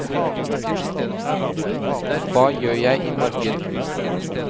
hva gjør jeg imorgen